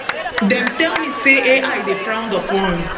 dem tell me say ai dey frowned upon